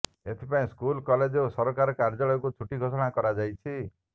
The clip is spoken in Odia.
ଏଥିପାଇଁ ସ୍କୁଲ୍ କଲେଜ ଓ ସରକାର କାର୍ଯ୍ୟାଳୟକୁ ଛୁଟି ଘୋଷଣା କରାଯାଇଛି